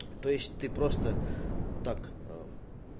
то есть ты просто так